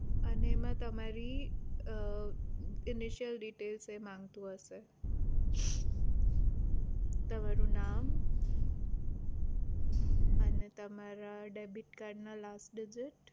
અને એમાં તમારી details એ માંગતું હશે તમારું નામ અને તમારા debit card ના last digit